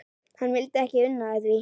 Hann vildi ekki una því.